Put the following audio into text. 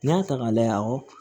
N'i y'a ta k'a layɛ